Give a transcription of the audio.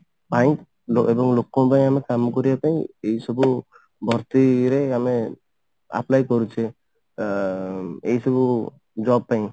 ଲୋ ଲୋ ଲୋକଙ୍କ ପାଇଁ ଆମେ କାମ କରିବା ପାଇଁ ଏଇ ସବୁ ଭର୍ତି ଇଏ ରେ ଆମେ apply କରୁଛେ ଏ ଏଇ ସବୁ job ପାଇଁ